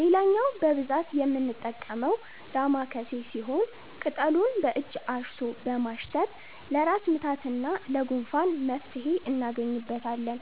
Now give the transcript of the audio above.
ሌላኛው በብዛት የምንጠቀመው 'ዳማከሴ' ሲሆን፣ ቅጠሉን በእጅ አሽቶ በማሽተት ለራስ ምታትና ለጉንፋን መፍትሄ እናገኝበታለን።